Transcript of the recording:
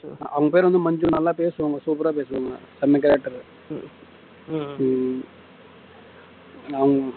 அவங்க பேர் வந்து மஞ்சு நல்லா பேசுவாங்க super ஆ பேசுவாங்க செம character உம் அவங்க